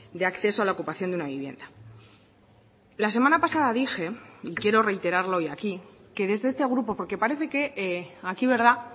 de acceso a la ocupación de una vivienda la semana pasada dije y quiero reiterarlo hoy aquí que desde este grupo porque parece que aquí verdad